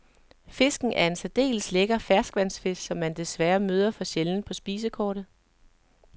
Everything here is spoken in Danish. Fisken er en særdeles lækker ferskvandsfisk, som man desværre møder for sjældent på spisekortet.